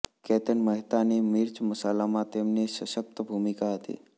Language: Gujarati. કેતન મહેતાની મિર્ચ મસાલામાં તેમની સશકત ભૂમિકા હતી